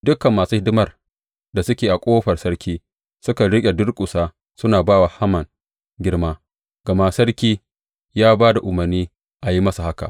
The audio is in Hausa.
Dukan masu hidimar da suke a ƙofar sarki suka riƙa durƙusa suna ba wa Haman girma, gama sarki ya ba da umarni a yi masa haka.